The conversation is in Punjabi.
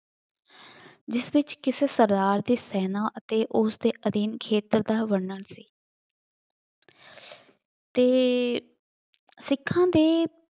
ਜਿਸ ਵਿੱਚ ਕਿਸੇ ਸਰਦਾਰ ਦੇ ਸੈਨਾ ਅਤੇ ਉਸਦੇ ਅਧੀਨ ਖੇਤਰ ਦਾ ਵਰਣਨ ਸੀ ਅਤੇ ਸਿੱਖਾਂ ਦੇ